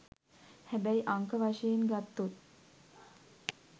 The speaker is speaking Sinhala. හැබැයි අංක වශයෙන් ගත්තොත්